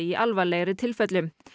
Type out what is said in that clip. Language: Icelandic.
í alvarlegri tilfellum